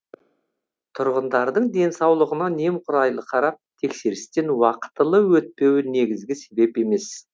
тұрғындардың денсаулығына немқұрайлы қарап тексерістен уақытылы өтпеуі негізгі себеп емес